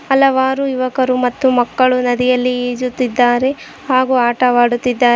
ಹಲವಾರು ಯುವಕರು ಮತ್ತು ಮಕ್ಕಳು ನದಿಯಲ್ಲಿ ಈಜುತ್ತಿದ್ದಾರೆ ಹಾಗೂ ಆಟವಾಡುತ್ತಿದ್ದಾ--